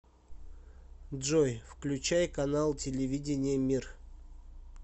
джой включай канал телевидения мир